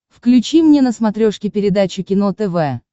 включи мне на смотрешке передачу кино тв